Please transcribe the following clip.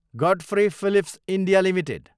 Godfrey Phillips India Ltd